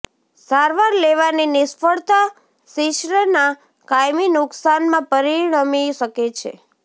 સારવાર લેવાની નિષ્ફળતા શિશ્નના કાયમી નુકસાનમાં પરિણમી શકે છે